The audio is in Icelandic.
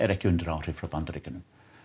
ekki undir áhrifum frá Bandaríkjunum